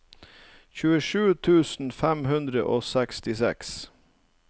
tjuesju tusen fem hundre og sekstiseks